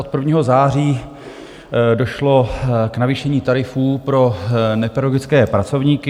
Od 1. září došlo k navýšení tarifů pro nepedagogické pracovníky.